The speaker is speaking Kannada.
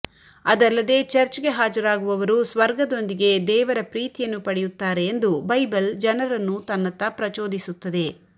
ಅದಲ್ಲದೇ ಚರ್ಚ್ಗೆ ಹಾಜರಾಗುವವರು ಸ್ವರ್ಗದೊಂದಿಗೆ ದೇವರ ಪ್ರೀತಿಯನ್ನು ಪಡೆಯುತ್ತಾರೆ ಎಂದು ಬೈಬಲ್ ಜನರನ್ನು ತನ್ನತ್ತ ಪ್ರಚೋದಿಸುತ್ತದೆ